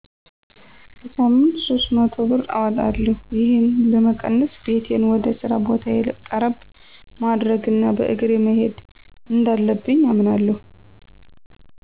በሳምንት 300 ብር አወጣለሁ። ይህን ለመቀነስ ቤቴን ወደ ስራ ቦታየ ቀረብ ማድረግ እና በእግሬ መሄድ እንዳለብኝ አምናለሁ።